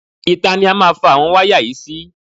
Ìta ni a má fa àwọn wáyà yìí sí.